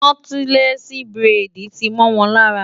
Nọ́tílẹ́ẹ̀sì buredì ti mọ́ wọn lára.